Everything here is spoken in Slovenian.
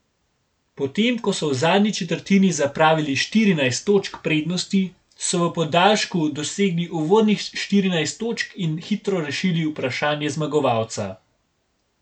Potem ko so v zadnji četrtini zapravili štirinajst točk prednosti, so v podaljšku dosegli uvodnih štirinajst točk in hitro rešili vprašanje zmagovalca.